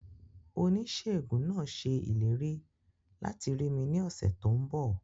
Oníṣèègùn náà ṣe ìlérí láti rí mi ní ọ̀sẹ̀ tó n bọ̀